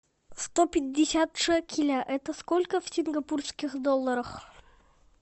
сто пятьдесят шекеля это сколько в сингапурских долларах